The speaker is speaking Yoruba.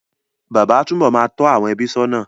Bàbá á tú bọ̀ máa tó àwọn ẹbí sónà